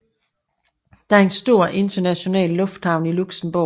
Der er en stor international lufthavn i Luxembourg